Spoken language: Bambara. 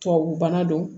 Tubabu bana don